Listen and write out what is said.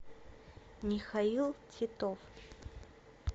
михаил титов